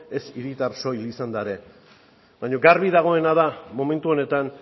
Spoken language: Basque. ez hiritar soil izanda ere baina garbi dagoena da momentu honetan